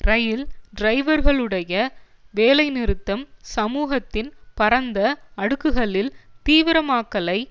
இரயில் டிரைவர்களுடைய வேலைநிறுத்தம் சமூகத்தின் பரந்த அடுக்குகளில் தீவிரமாக்கலை